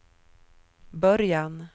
början